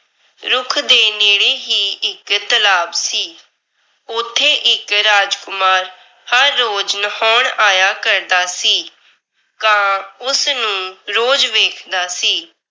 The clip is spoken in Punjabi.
ਰੁੱਖ ਦੇ ਨੇੜੇ ਹੀ ਇੱਕ ਤਲਾਬ ਸੀ। ਉੱਥੇ ਇੱਕ ਰਾਜਕੁਮਾਰ ਹਰ ਰੋਜ ਨਹਾਉਣ ਆਇਆ ਕਰਦਾ ਸੀ। ਕਾਂ ਉਸ ਨੂੰ ਰੋਜ਼ ਵੇਖਦਾ ਸੀ।